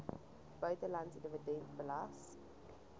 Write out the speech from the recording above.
buitelandse dividend belas